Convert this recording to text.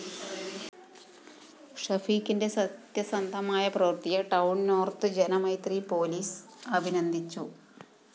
ഷഫീഖിന്റെ സത്യസന്ധമായ പ്രവര്‍ത്തിയെ town north Janamaithri police അഭിനന്ദിച്ചു